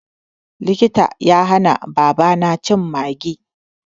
Likita ya hana babana cin Maggi.